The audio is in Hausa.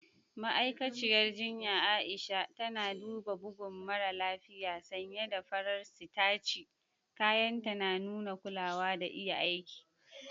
Ma'aikaciyar jinya Aisha tana duba bugun mara lafiya sanye da farar sitaci, kayanta na nuna kulawa da iya aiki.